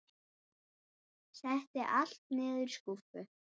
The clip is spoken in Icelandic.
Setti allt niður í skúffu.